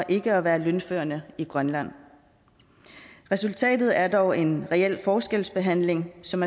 ikke at være lønførende i grønland resultatet er dog en reel forskelsbehandling som